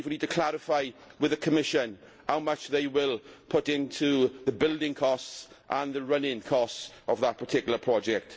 We need to clarify with the Commission how much they will put into the building costs and the running costs of that particular project.